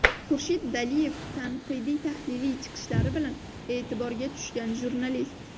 Xurshid Daliyev tanqidiy-tahliliy chiqishlari bilan e’tiborga tushgan jurnalist.